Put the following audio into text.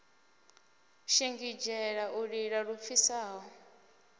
shingizhela u lila lu pfisaho